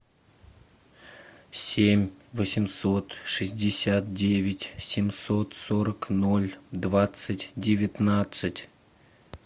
семь восемьсот шестьдесят девять семьсот сорок ноль двадцать девятнадцать